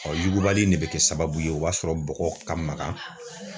Ɔ yugubali in ne be kɛ sababu ye o b'a sɔrɔ bɔgɔ ka magan